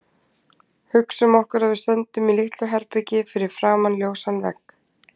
Hugsum okkur að við stöndum í litlu herbergi fyrir framan ljósan vegg.